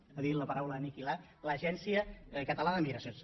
ha dit la paraula aniquilar l’agència catalana de migracions